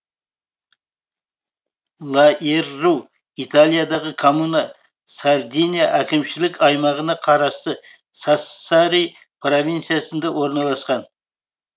лаерру италиядағы коммуна сардиния әкімшілік аймағына қарасты сассари провинциясында орналасқан